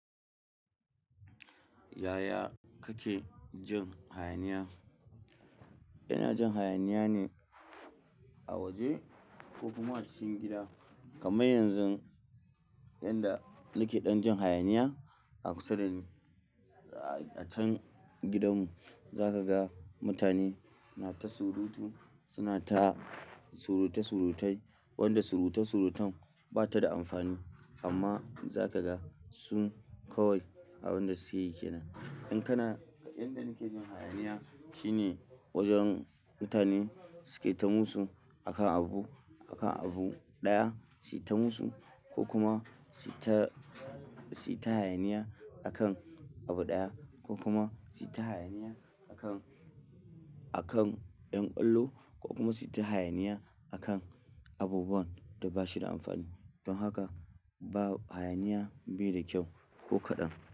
Yaya kake jin hayaniya? Ina jin hayaniya ne a waje ko kuma a cikin gida. Kaman yanzun yanda nake ɗan jin hayaniya a kusa da ni. A can gidan mu zaka ga mutane na ta surutu, suna ta suruta surutai wanda suruta surutan bata da amfani amma zaka ga sun kawai abunda suke yi kenan. In kana inda nike jin hayaniya shine wajen mutane suke ta musu akan abu, akan abu ɗaya, su yita musu ko kuma su suyita hayaniya akan abu ɗaya ko kuma su ta hayaniya akan, akan ƴan ƙwallo ko kuma suyita hayaniya akan abubuwan da bashida amfani. Don haka ba-- hayaniya bai da kyau ko kaɗan.